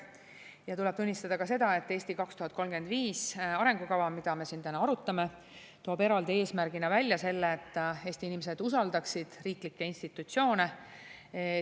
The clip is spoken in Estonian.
Ja tuleb tunnistada ka seda, et "Eesti 2035" arengukava, mida me siin täna arutame, toob eraldi eesmärgina välja selle, et Eesti inimesed usaldaksid riiklikke institutsioone.